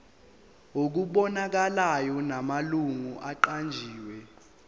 okubonakalayo namalungu aqanjiwe